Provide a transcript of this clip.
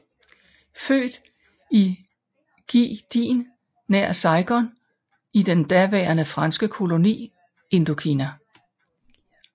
Født i Gia Dinh nær Saigon i den daværende franske koloni Indokina